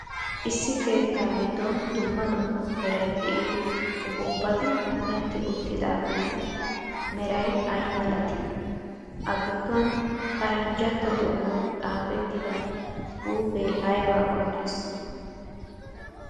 Issi keettaa giddon dumma dumma meray de'iyo uppuppati punetti uttidaageetu meray aymalatii? A Gidduwan paranjjantto doonaan xaafettida zuufee aybaa qonssii?